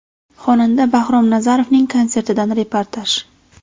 Xonanda Bahrom Nazarovning konsertidan reportaj.